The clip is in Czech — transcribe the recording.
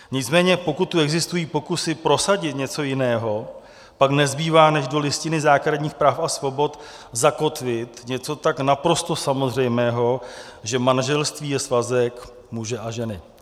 Nicméně pokud tu existují pokusy prosadit něco jiného, pak nezbývá než do Listiny základních práv a svobod zakotvit něco tak naprosto samozřejmého, že manželství je svazek muže a ženy.